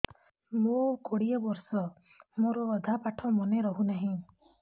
ମୋ କୋଡ଼ିଏ ବର୍ଷ ମୋର ଅଧା ପାଠ ମନେ ରହୁନାହିଁ